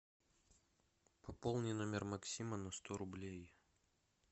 пополни номер максима на сто рублей